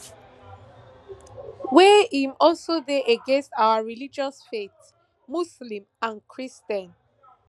wey im also dey against our religious faith muslim and christian